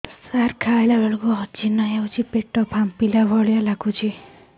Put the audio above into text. ସାର ଖାଇଲା ବେଳକୁ ଅଜିର୍ଣ ହେଉଛି ପେଟ ଫାମ୍ପିଲା ଭଳି ଲଗୁଛି